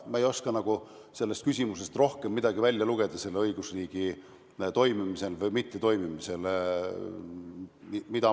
Ma ei oska sellest küsimusest rohkem midagi välja lugeda õigusriigi toimimise või mittetoimimise kohta.